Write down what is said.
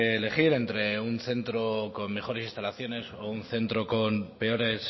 elegir entre un centro con mejores instalaciones o un centro con peores